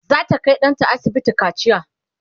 zata Kai ɗanta asibiti kaciya